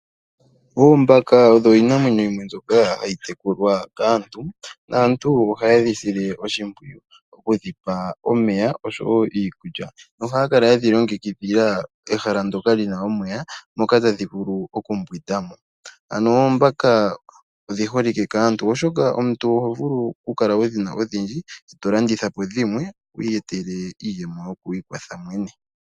Oombaka odho iinamwenyo yimwe mbyoka hayi tekulwa kaantu, naantu oha yedhi sile oshimpwiyu kudhipa omeya oshowo iikulya, nohaya kale yedhi longekidhila ehala ndoka lina omeya moka tadhi vulu okumbwida mo, ano oombaka odhiholike kaantu oshoka omuntu ohovulu kukala wudhina odhindji etolanditha po dhimwe wiiyetele iiyemo yokwiikwatha.